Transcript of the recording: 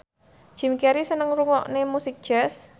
Jim Carey seneng ngrungokne musik jazz